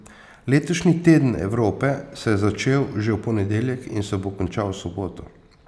Letošnji Teden Evrope se je začel že v ponedeljek in se bo končal v soboto.